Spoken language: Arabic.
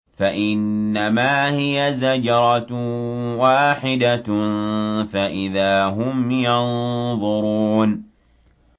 فَإِنَّمَا هِيَ زَجْرَةٌ وَاحِدَةٌ فَإِذَا هُمْ يَنظُرُونَ